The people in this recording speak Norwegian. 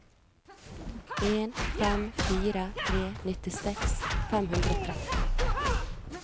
en fem fire tre nittiseks fem hundre og tretten